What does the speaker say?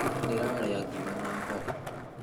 Ndĩrarĩa ngima na mboga